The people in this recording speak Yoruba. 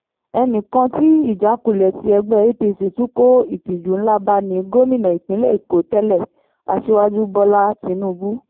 ẹnì kan tí ìjákulẹ̀ tí ẹgbẹ́ apc tún kó ìtìjú ńlá bá ní gómìnà ìpínlẹ̀ èkó tẹ́lẹ̀ aṣíwájú bọ́lá tínúbù